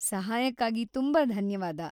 ಸಹಾಯಕ್ಕಾಗಿ ತುಂಬಾ ಧನ್ಯವಾದ.